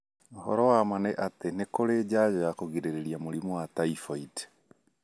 Ũhoro wa ma nĩ atĩ nĩ kũrĩ njajo ya kũgirĩrĩria mũrimũ wa typhoid.